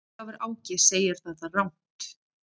Ólafur Áki segir það rangt.